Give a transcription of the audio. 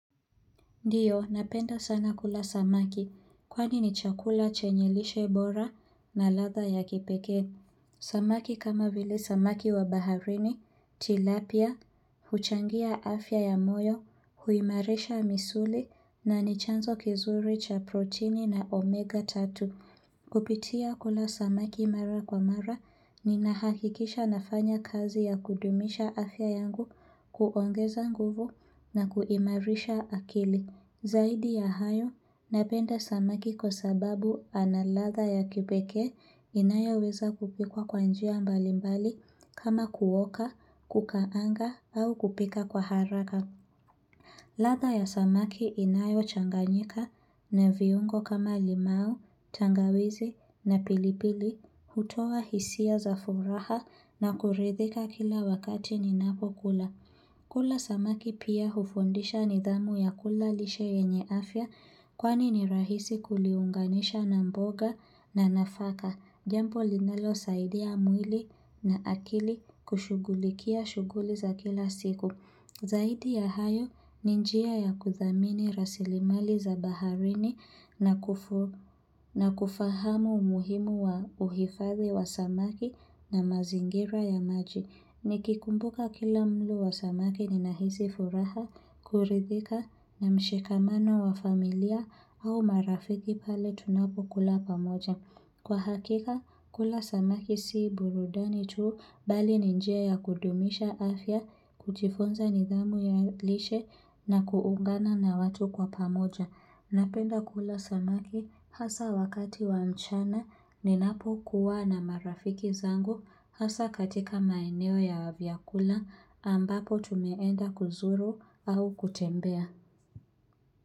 Ndiyo, napenda sana kula samaki, kwani ni chakula chenye lishe bora na ladha ya kipekee. Samaki kama vile samaki wa baharini, tilapia, huchangia afya ya moyo, huimarisha misuli na ni chanzo kizuri cha proteini na omega tatu. Kupitia kula samaki mara kwa mara, ninahakikisha nafanya kazi ya kudumisha afya yangu kuongeza nguvu na kuimarisha akili. Zaidi ya hayo, napenda samaki kwa sababu ana ladha ya kipekae inayoweza kupikwa kwa njia mbalimbali kama kuoka, kukaanga au kupika kwa haraka. Ladha ya samaki inayochanganyika na viungo kama limau, tangawizi na pilipili, hutoa hisia za furaha na kuridhika kila wakati ninapo kula. Kula samaki pia hufundisha nidhamu ya kula lishe yenye afya kwani ni rahisi kuliunganisha na mboga na nafaka. Jambo linalosaidia mwili na akili kushughulikia shughuli za kila siku. Zaidi ya hayo ni njia ya kudhamini rasilimali za baharini na kufahamu umuhimu wa uhifadhi wa samaki na mazingira ya maji. Nikikumbuka kila mlo wa samaki ninahisi furaha, kuridhika na mshikamano wa familia au marafiki pale tunapokula pamoja. Kwa hakika, kula samaki si burudani tuu bali ni njia ya kudumisha afya, kujifunza nidhamu ya lishe na kuungana na watu kwa pamoja. Napenda kula samaki hasa wakati wa mchana ninapo kuwa na marafiki zangu hasa katika maeneo ya vyakula ambapo tumeenda kuzuru au kutembea.